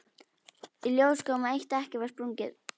Í ljós kom að eitt dekkið var sprungið.